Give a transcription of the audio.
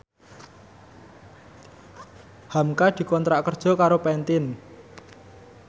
hamka dikontrak kerja karo Pantene